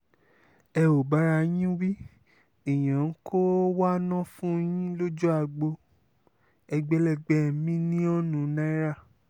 ẹ ò bára yín wí èèyàn ń kọ́wó wa ná fún yín lójú agbo ẹgbẹ̀lẹ́gbẹ́ mílíọ̀nù náírà